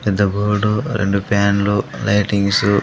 పెద్ద బోర్డు రెండు ఫ్యాన్లు లైటింగ్సు .